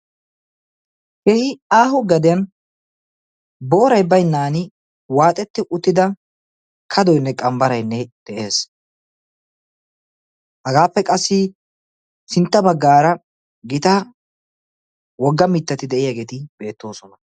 kehi aaho gadiyan boorai bainnan waaxetti uttida kadoinne qambbaraynne de'ees hagaappe qassi sintta baggaara gita wogga mittati de'iyaageeti beettoosona